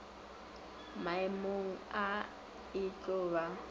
maemong a e tlo ba